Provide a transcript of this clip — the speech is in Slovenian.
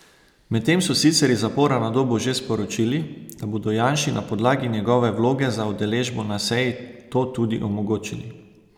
Medtem so sicer iz zapora na Dobu že sporočili, da bodo Janši na podlagi njegove vloge za udeležbo na seji to tudi omogočili.